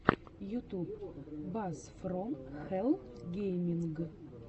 ютуб бас фром хэлл гейминг